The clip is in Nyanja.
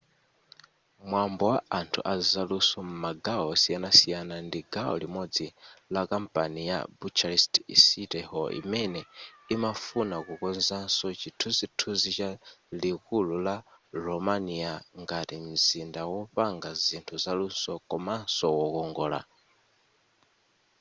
mwambo wa anthu a zaluso m'magawo osiyanasiyana ndi gawo limodzi la kampeni ya bucharest city hall imene imafuna kukonzanso chithunzithunzi cha likulu la romania ngati mzinda wopanga zinthu zaluso komanso wokongola